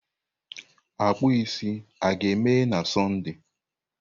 Akpụ isi a ga-emeghe na Sọnde?